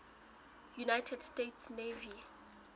united states navy